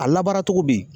A labaara cogo bɛ yen